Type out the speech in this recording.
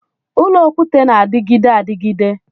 Ụlọ okwute na-adịgide adịgide